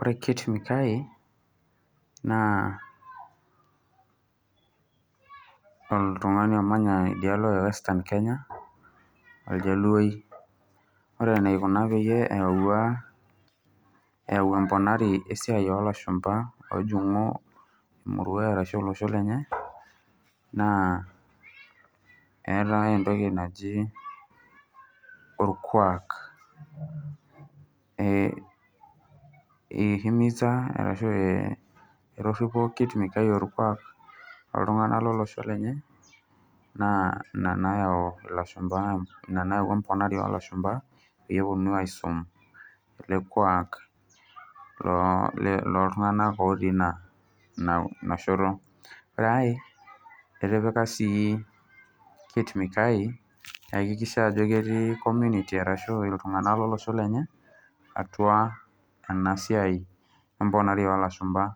Ore Kit Mikayi naa oljaluoi oltungani omanya idialo e Western Kenya. Ore enaikuna peyie eyaua emponari oolashumpa oojungu olosho lenye naa eetai entoki naji orkuak. Etoripo ninye orkuak lolosho lenye neyau ina emponari oo lashumpa oleng peyie eponu aisum ele kuak oltunganak otii ina shoto. Etipika siii ninye ajo ketii iltunganak lolosho lenye ajo ketii atua ena siai emponari oolashumba